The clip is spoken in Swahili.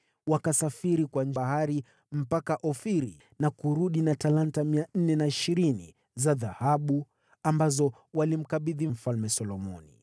Wakasafiri kwa bahari mpaka Ofiri na kurudi na talanta 420 za dhahabu, ambazo walimkabidhi Mfalme Solomoni.